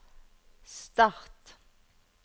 start